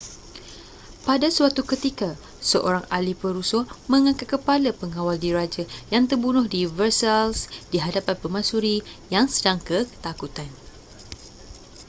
pada suatu ketika seorang ahli perusuh mengangkat kepala pengawal diraja yang terbunuh di versailles di hadapan permaisuri yang sedang ketakutan